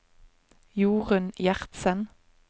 Jorun Gjertsen